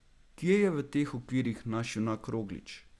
Kje je v teh okvirih naš junak Roglič?